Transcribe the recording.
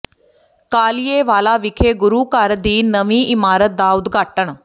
ਕਾਲੀਏ ਵਾਲਾ ਵਿਖੇ ਗੁਰੂ ਘਰ ਦੀ ਨਵੀਂ ਇਮਾਰਤ ਦਾ ਉਦਘਾਟਨ